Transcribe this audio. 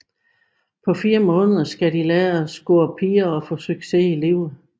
På 4 måneder skal de lære at score piger og få succes i livet